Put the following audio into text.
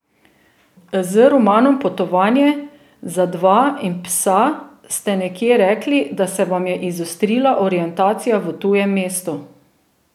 Z romanom Potovanje za dva in psa ste nekje rekli, da se vam je izostrila orientacija v tujem mestu.